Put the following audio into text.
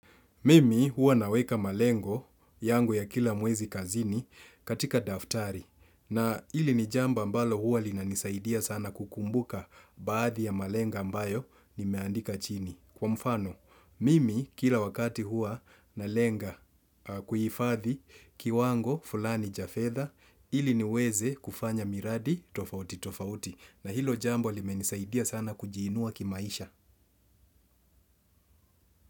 Mimi huwa na weka malengo yangu ya kila mwezi kazini katika daftari na hili ni jambo ambalo huwa linanisaidia sana kukumbuka baadhi ya malengo ambayo nimeandika chini. Kwa mfano, mimi kila wakati huwa nalenga kuhifadhi kiwango fulani cha fedhaa ili niweze kufanya miradi tofauti tofauti na hilo jambo limenisaidia sana kujiinua kimaisha.